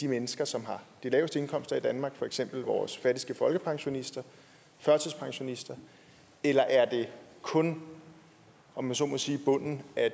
mennesker som har de laveste indkomster i danmark for eksempel vores fattigste folkepensionister førtidspensionister eller er det kun om jeg så må sige bunden af